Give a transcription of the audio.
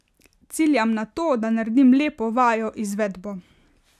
Ciljam na to, da naredim lepo vajo, izvedbo.